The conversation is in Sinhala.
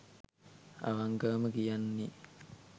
අවන්කවම කියන්නේ